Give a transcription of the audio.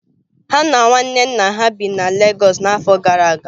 Ha na nwanne nna ha bi na Lagos n'afọ gara aga